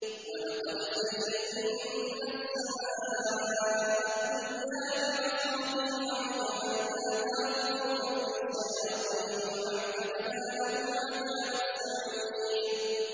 وَلَقَدْ زَيَّنَّا السَّمَاءَ الدُّنْيَا بِمَصَابِيحَ وَجَعَلْنَاهَا رُجُومًا لِّلشَّيَاطِينِ ۖ وَأَعْتَدْنَا لَهُمْ عَذَابَ السَّعِيرِ